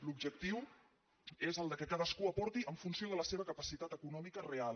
l’objectiu és que cadascú aporti en funció de la seva capacitat econòmica real